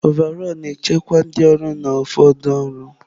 Ọvaọlụ na-echekwa ndị ọrụ na ụfọdụ ọrụ.